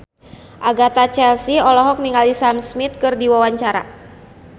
Agatha Chelsea olohok ningali Sam Smith keur diwawancara